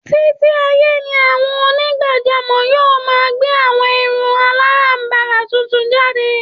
Títí ayé ni àwọn onígbàjámọ̀ yóò máa gé àwọn irun aláràǹbarà tuntun jáde